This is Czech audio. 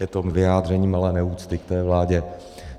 Je to vyjádření malé neúcty k té vládě.